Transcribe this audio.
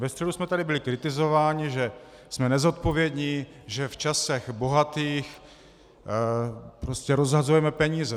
Ve středu jsme tady byli kritizováni, že jsme nezodpovědní, že v časech bohatých prostě rozhazujeme peníze.